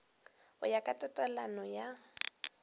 go ya ka tatelano ya